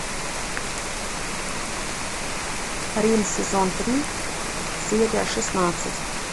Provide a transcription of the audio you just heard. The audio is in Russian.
рим сезон три серия шестнадцать